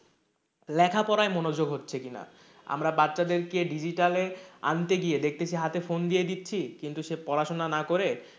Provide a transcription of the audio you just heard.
লেখাপড়ায় মনোযোগ হচ্ছে কিনা? আমরা বাচ্চাদেরকে digital এ আনতে গিয়ে দেখতেছি হাতে phone দিয়ে দিচ্ছি কিন্তু সে পড়াশোনা না করে,